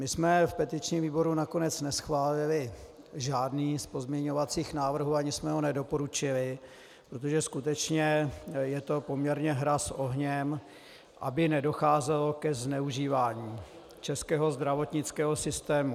My jsme v petičním výboru nakonec neschválili žádný z pozměňovacích návrhů, ani jsme ho nedoporučili, protože skutečně je to poměrně hra s ohněm, aby nedocházelo ke zneužívání českého zdravotnického systému.